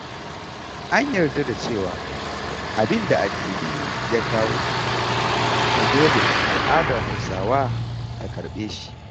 An yarda da cewa abinda addini ya kawo, to dole al'adar Hausawa ta karɓe shi.